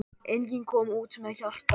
Enginn kom út með hjarta.